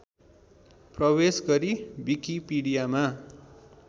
प्रवेश गरी विकिपीडियामा